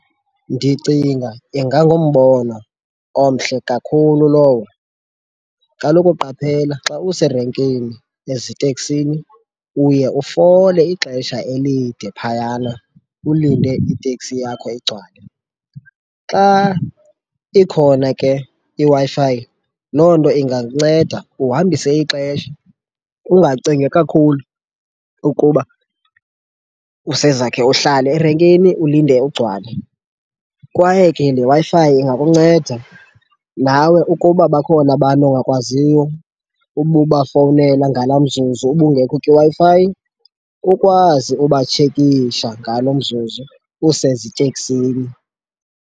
Ndicinga ingangumbono omhle kakhulu lowo. Kaloku qaphela xa userenkini eziteksini uye ufole ixesha elide phayana ulinde iteksi yakho igcwale. Xa ikhona ke iWi-Fi, loo nto ingakunceda uhambise ixesha ungacingi kakhulu ukuba usezakhe uhlale erenkini, ulinde ugcwale. Kwaye ke le Wi-Fi ingakunceda nawe ukuba bakhona abantu ongakwaziyo ube ubafowunela ngalaa mzuzu ubungekho kwiWi-Fi, ukwazi ubatshekisha ngalo mzuzu useziteksini.